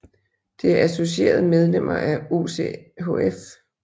Det er associerede medlemmer af OCHF